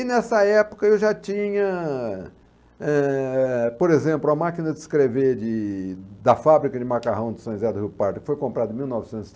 E nessa época eu já tinha, eh, por exemplo, a máquina de escrever de da fábrica de macarrão de São José do Rio Pardo, que foi comprada em mil novecentos e